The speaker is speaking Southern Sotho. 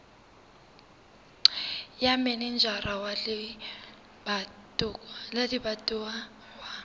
ya manejara wa lebatowa wa